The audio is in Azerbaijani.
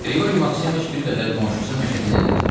Qriqori Maksimoviç bir qədər qonşusu Məşədi ilə dərdləşdi.